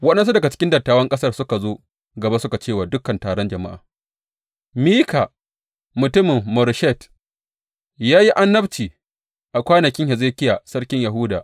Waɗansu daga cikin dattawan ƙasar suka zo gaba suka ce wa dukan taron jama’a, Mika mutumin Moreshet, ya yi annabci a kwanakin Hezekiya sarkin Yahuda.